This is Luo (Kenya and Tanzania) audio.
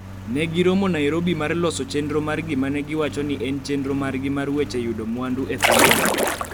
ne giromo Nairobi mar loso chenro mar gima ne giwacho ni en chenro margi mar weche yudo mwandu e pinyno.